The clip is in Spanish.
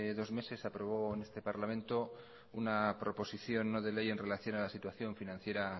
dos meses se aprobó en este parlamento una proposición no de ley en relación a la situación financiera